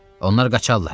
Onlar qaçarlar.